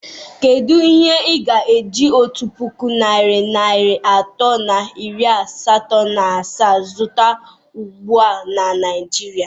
Kedu ihe ị ga-eji otu puku narị naịra atọ na iri asatọ na asaa zụta ugbu a na Naịjirịa?